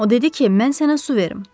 O dedi ki, mən sənə su verim.